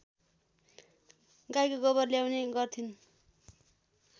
गाईको गोबर ल्याउने गर्थिन्